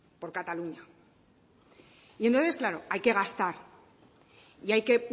por cataluña y entonces claro hay que gastar y hay que